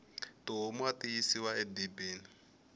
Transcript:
tihomu ati yisiwa e dibini